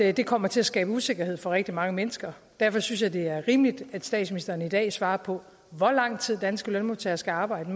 at det kommer til at skabe usikkerhed for rigtig mange mennesker derfor synes jeg det er rimeligt at statsministeren i dag svarer på hvor lang tid mere danske lønmodtagere skal arbejde